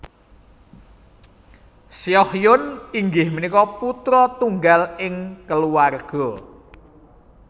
Seohyoen inggih punika putra tunggal ing keluarga